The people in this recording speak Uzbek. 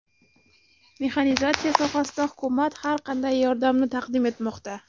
Mexanizatsiya sohasida hukumat har qanday yordamni taqdim etmoqda.